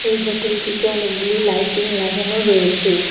এই হোটেলটিতে অনেকগুলি লাইটিং লাগানো রয়েছে।